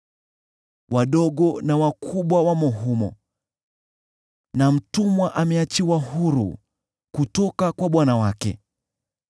Wadogo na wakubwa wamo humo, na mtumwa ameachiwa huru kutoka kwa bwana wake.